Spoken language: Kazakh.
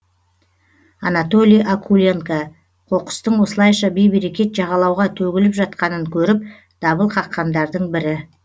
анатолий окуленко қоқыстың осылайша бейберекет жағалауға төгіліп жатқанын көріп дабыл қаққандардың бірі